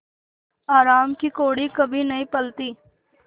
हराम की कौड़ी कभी नहीं फलती